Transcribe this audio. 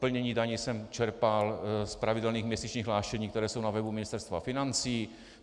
Plnění daní jsem čerpal z pravidelných měsíčních hlášení, která jsou na webu Ministerstva financí.